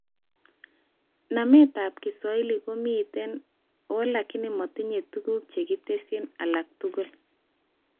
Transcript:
Nametab Kiswahili komiten alakini matinye tuguk chekitesyi alak tugul